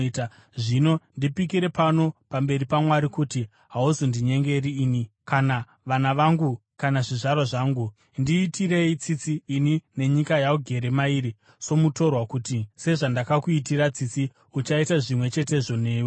Zvino ndipikire pano pamberi paMwari kuti hauzondinyengeri ini, kana vana vangu kana zvizvarwa zvangu. Ndiitirei tsitsi ini nenyika yaugere mairi somutorwa, kuti sezvandakakuitira tsitsi uchaita zvimwe chetezvo newewo.”